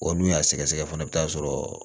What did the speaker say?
Wa n'u y'a sɛgɛsɛgɛ fana i bɛ taa sɔrɔ